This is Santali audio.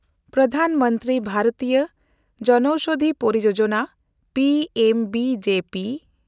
ᱯᱨᱚᱫᱷᱟᱱ ᱢᱚᱱᱛᱨᱤ ᱵᱷᱟᱨᱤᱛᱤᱭᱚ ᱡᱚᱱᱳᱣᱥᱚᱫᱷᱤ ᱯᱚᱨᱤᱭᱳᱡᱚᱱᱟ’ (P M B J P)